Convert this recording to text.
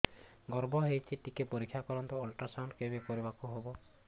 ଗର୍ଭ ହେଇଚି ଟିକେ ପରିକ୍ଷା କରନ୍ତୁ ଅଲଟ୍ରାସାଉଣ୍ଡ କେବେ କରିବାକୁ ହବ